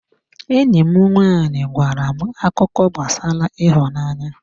Enyi m nwanyị gwara m akụkọ gbasara ịhụnanya.